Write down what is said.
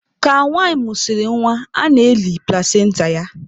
Ka nwanyị mụsịrị nwa, a na-eli plasenta ya.